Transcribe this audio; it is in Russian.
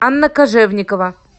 анна кожевникова